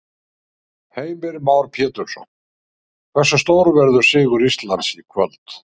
Heimir Már Pétursson: Hversu stór verður sigur Íslands í kvöld?